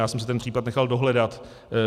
Já jsem si ten případ nechal dohledat.